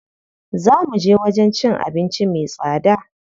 Zaa muje wajen cin abinci me tsada.